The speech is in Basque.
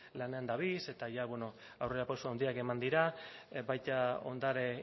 lanean dabiltza eta ja aurrerapauso handiak eman dira baita ondare